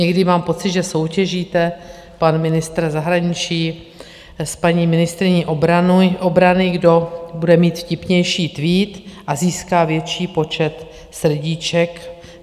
Někdy mám pocit, že soutěžíte - pan ministr zahraničí s paní ministryní obrany - kdo bude mít vtipnější tweet a získá větší počet srdíček.